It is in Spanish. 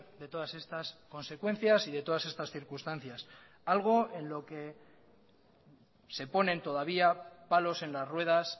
de todas estas consecuencias y de todas estas circunstancias algo en lo que se ponen todavía palos en las ruedas